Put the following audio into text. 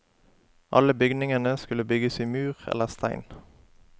Alle bygningene skulle bygges i mur eller stein.